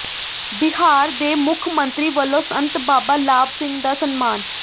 ਬਿਹਾਰ ਦੇ ਮੁੱਖ ਮੰਤਰੀ ਵੱਲੋਂ ਸੰਤ ਬਾਬਾ ਲਾਭ ਸਿੰਘ ਦਾ ਸਨਮਾਨ